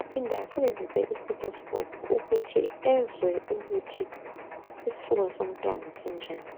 aphinde asebenzise i"stethoscope" ukuthi ezwe ukuthi isifuba somntwana sinjani.